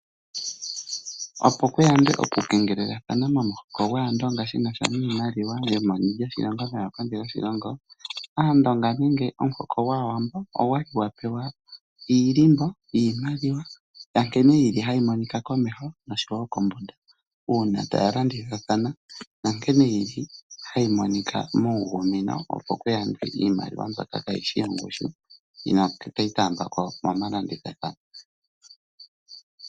Opo ku yandwe okukengelelathana momuhoko gwAandonga shi n asha niimaliwa yomeni lyoshilongo noyokondje yoshilongo, Aandonga nenge omuhoko gwAawambo ogwa li gwa pewa iilimbo yiimaliwa ya nkene hayi monika komeho noshowo kombunda. Uuna taya landithathana nankene hayi monika muuyuni wonena opo ku yandwe iimaliwa mbyoka kayi shi yongushu noyi inayi taambiwa ko momalandithathano.